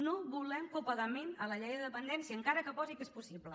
no volem copagament a la llei de dependència encara que posi que és possible